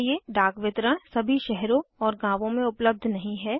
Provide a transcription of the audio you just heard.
डाक वितरण सभी शहरों और गाँवों में उपलब्ध नहीं है